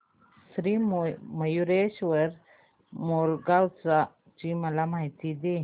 श्री मयूरेश्वर मोरगाव ची मला माहिती दे